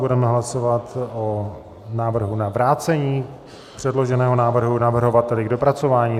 Budeme hlasovat o návrhu na vrácení předloženého návrhu navrhovateli k dopracování.